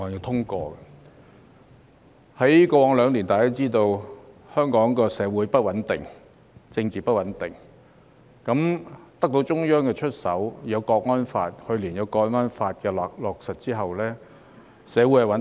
在過去兩年，大家也知道香港社會不穩定、政治不穩定。在得到中央出手後，去年有《香港國安法》的落實，社會便穩定了。